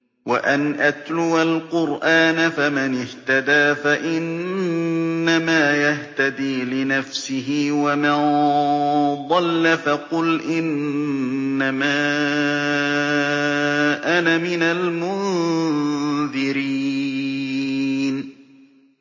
وَأَنْ أَتْلُوَ الْقُرْآنَ ۖ فَمَنِ اهْتَدَىٰ فَإِنَّمَا يَهْتَدِي لِنَفْسِهِ ۖ وَمَن ضَلَّ فَقُلْ إِنَّمَا أَنَا مِنَ الْمُنذِرِينَ